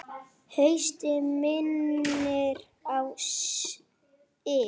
Haustið minnir á sig.